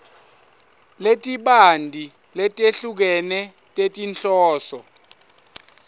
letibanti letehlukene tetinhloso